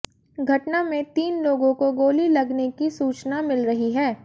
घटना में तीन लोगों को गोली लगने की सूचना मिल रही है